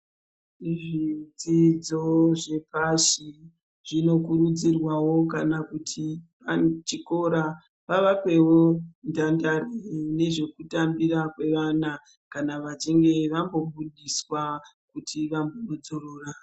Zvidzidzo zvepashi, zvinokurudzirwawo kana kuti chikora vavepowo ndandare nezvekutambira kwevana kana vachinge vambobudiswa kuti vambodzorora.